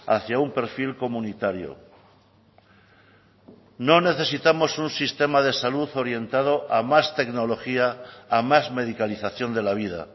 hacia un perfil comunitario no necesitamos un sistema de salud orientado a más tecnología a más medicalización de la vida